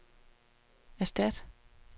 erstat